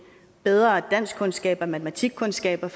bedre danskkundskaber og matematikkundskaber